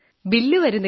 ബില്ലു വരുന്നില്ല